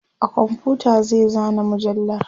a komfuta zai zana mujallar